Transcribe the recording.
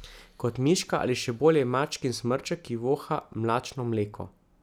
Kot miška ali, še bolje, mačkin smrček, ki voha mlačno mleko.